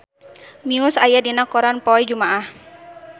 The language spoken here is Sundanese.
Muse aya dina koran poe Jumaah